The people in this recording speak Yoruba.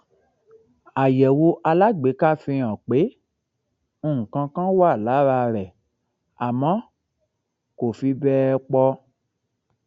àyẹwò alágbèéká fihàn pé nǹkan kan wà lára rẹ àmọ kò fi bẹẹ pọ